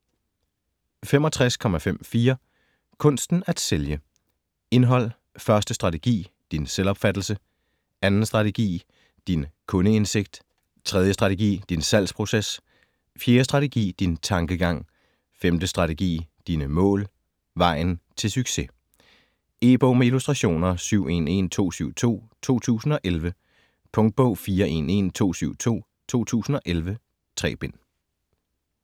65.54 Kunsten at sælge Indhold: 1. strategi: Din selvopfattelse ; 2. strategi: Din kundeindsigt ; 3. strategi: Din salgsproces ; 4. strategi: Din tankegang ; 5. strategi: Dine mål ; Vejen til succes. E-bog med illustrationer 711272 2011. Punktbog 411272 2011. 3 bind.